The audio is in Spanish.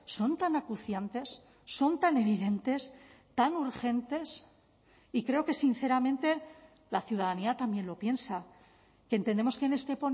son tan acuciantes son tan evidentes tan urgentes y creo que sinceramente la ciudadanía también lo piensa que entendemos que en este